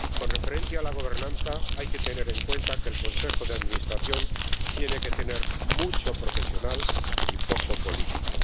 con referencia a la gobernanza, hay que tener en cuenta que el Consejo de Administración tiene que tener mucho profesional y poco político.